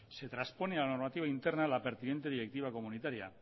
se traspone a la normativa interna la pertinente directiva comunitaria